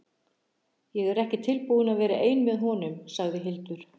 Ég er ekki tilbúin að vera ein með honum, sagði Hildur.